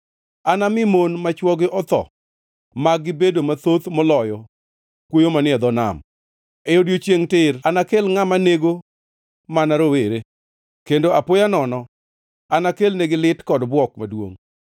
Anami mon ma chwogi otho mag-gi bedo mathoth moloyo kwoyo manie dho nam. E odiechiengʼ tir anakel ngʼama nego mana rowere; kendo apoya nono anakelnegi lit kod bwok maduongʼ.